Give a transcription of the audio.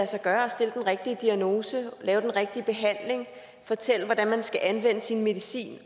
sig gøre at stille den rigtige diagnose lave den rigtige behandling fortælle hvordan man skal anvende sin medicin